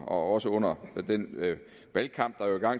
også under den valgkamp